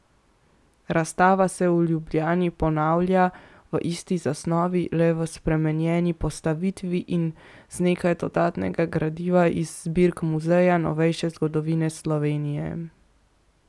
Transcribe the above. Razstava se v Ljubljani ponavlja v isti zasnovi, le v spremenjeni postavitvi in z nekaj dodatnega gradiva iz zbirk Muzeja novejše zgodovine Slovenije.